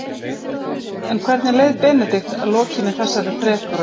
En hvernig leið Benedikt að lokinni þessari þrekraun?